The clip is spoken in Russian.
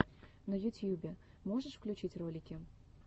на ютьюбе можешь включить ролики